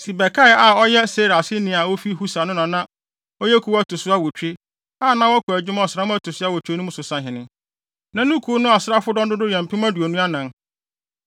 Sibekai a na ɔyɛ Sera aseni a ofi Husa no na na ɔyɛ kuw a ɛto so awotwe, a na wɔkɔ adwuma ɔsram a ɛto so awotwe mu no so sahene. Na ne kuw no asraafodɔm dodow yɛ mpem aduonu anan (24,000).